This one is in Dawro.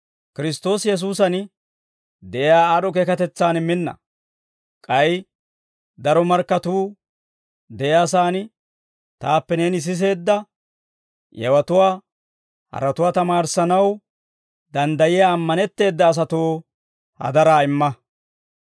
K'ay daro markkatuu de'iyaa saan taappe neeni siseedda yewatuwaa haratuwaa tamaarissanaw danddayiyaa ammanetteeda asatoo hadaraa imma.